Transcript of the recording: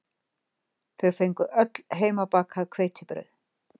Þau fengu öll heimabakað hveitibrauð